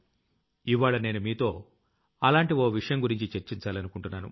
ఇవ్వాళ్ల నేను మీతో అలాంటి ఓ విషయం గురించి చర్చించాలనుకుంటున్నాను